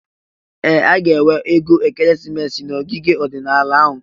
Ee! A ga-enwe ego ekeresimesi n'ogige ọdịnala ahụ.